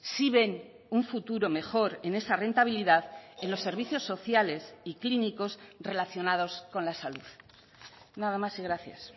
sí ven un futuro mejor en esa rentabilidad en los servicios sociales y clínicos relacionados con la salud nada más y gracias